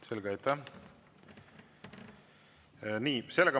Selge, aitäh!